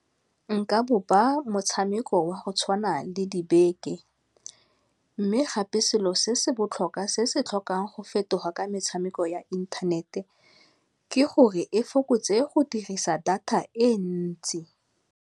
Nka bopa motshameko wa go tshwana le dibeke, mme gape selo se se botlhokwa se se tlhokang go fetoga ka metshameko ya inthanete ke gore e fokotse go dirisa data e ntsi.